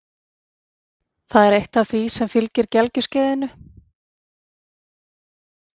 Það er eitt af því sem fylgir gelgjuskeiðinu.